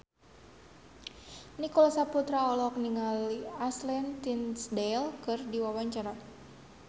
Nicholas Saputra olohok ningali Ashley Tisdale keur diwawancara